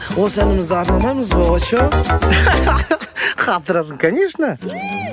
осы әнімізді арнамаймыз ба очоу қатырасың конечно